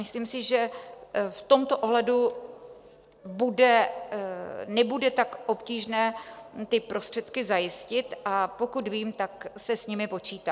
Myslím si, že v tomto ohledu nebude tak obtížné ty prostředky zajistit, a pokud vím, tak se s nimi počítá.